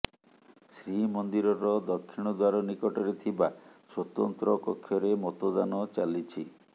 ଶ୍ରୀମନ୍ଦିରର ଦକ୍ଷିଣ ଦ୍ୱାର ନିକଟରେ ଥିବା ସ୍ୱତନ୍ତ୍ର କକ୍ଷରେ ମତଦାନ ଚାଲିଛି